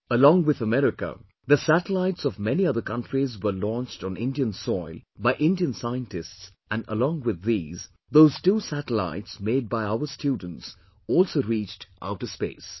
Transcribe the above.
Along with America, the satellites of many other countries were launched on Indian soil by Indian scientists and along with these, those two satellites made by our students also reached outer space